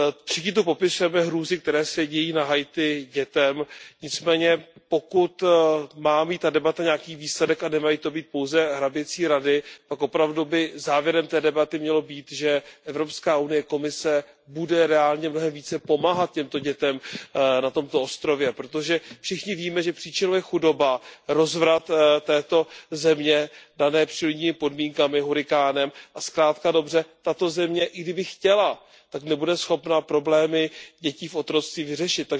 Všichni tu popisujeme hrůzy, které se dějí na Haiti dětem, nicméně pokud má mít ta debata nějaký výsledek a nemají to být pouze hraběcí rady, pak opravdu by závěrem té debaty mělo být, že Evropská unie, Komise budou reálně mnohem více pomáhat těmto dětem na tomto ostrově, protože všichni víme, že příčinou je chudoba, rozvrat této země daný přírodními podmínkami, hurikánem a zkrátka a dobře tato země, i kdyby chtěla, tak nebude schopna problémy dětí v otroctví vyřešit.